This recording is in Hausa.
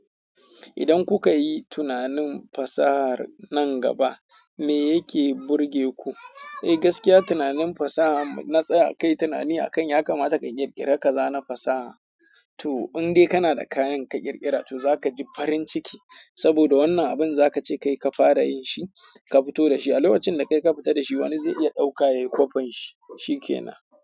Idan kuka yi tunanin fasahar nan gaba me yake burge ku? Eh gaskiya tunanin fasaha, na tsaya kai tunani a kan ya kamata ka ƙirƙira ka zana fasaha. To in dai kana da kayan ka ƙirƙira to za ka ji farin ciki. Saboda wannan abin za ka ce kai ka fara yin shi ka fito da shi. A lokacin da kai ka fita da shi wani zai iya ɗauka ya yi kwafen shi. Shi ke na.